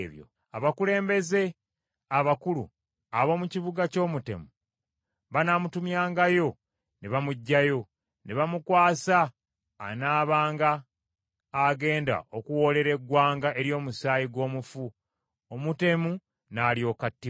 abakulembeze abakulu ab’omu kibuga ky’omutemu, banaamutumyangayo ne bamuggyayo, ne bamukwasa anaabanga agenda okuwoolera eggwanga ery’omusaayi gw’omufu, omutemu n’alyoka attibwa.